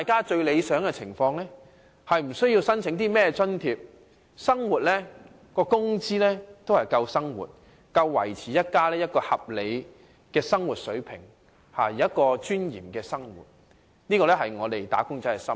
最理想的情況是無須申請任何津貼，工資已足以應付生活所需，足以維持家庭合理的生活水平，能夠有尊嚴地生活，這是"打工仔"的心願。